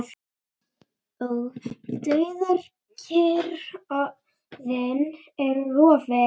Og dauðakyrrðin er rofin.